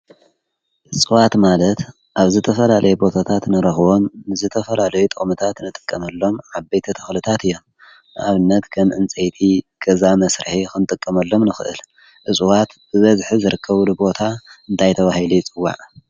እጽዋት ማለት ኣብ ዝተፈላለዩ ቦታታት ንረኽቦም ዝተፈላለዩ ጥቅምታት ንጥቀመሎም ዓበይቲ ተኽልታት እዮም። ኣብነት ከም እንፀይቲ ገዛ መሥርሒ ንገዛ መስርሒ ኽንጥቀመሎም ንኽእል እፅዋት ብበዝሒ ዝርከቡሉ ቦታ እንታይ ተባሂሉ ይፅዋዕ?